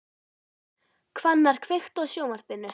Hvannar, kveiktu á sjónvarpinu.